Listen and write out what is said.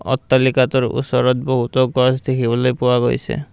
অট্টালিকাটোৰ ওচৰত বহুটো গছ দেখিবলৈ পোৱা গৈছে।